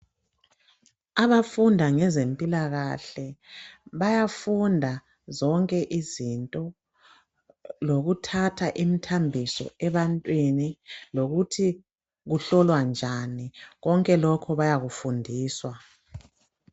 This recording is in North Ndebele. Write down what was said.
Abafundi ngezempilakahle bayafunda zonke izinto lokuthatha imthambiso ebantwini lokuthi uhlolwa njani konke lokho bayakufundiswa.